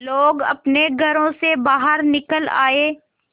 लोग अपने घरों से बाहर निकल आए